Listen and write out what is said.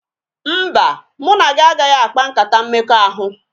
Mba, mụ na gị agaghị akpa nkata mmekọahụ